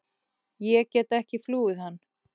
Ég get ekki flúið hann.